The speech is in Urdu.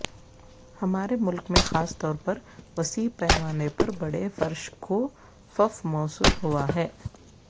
ہمارے ملک میں خاص طور پر وسیع پیمانے پر بڑے فرش کوفف موصول ہوا ہے